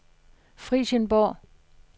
Frijsenborg